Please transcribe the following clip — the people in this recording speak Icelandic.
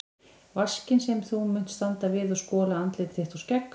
Vaskinn sem þú munt standa við og skola andlit þitt og skegg.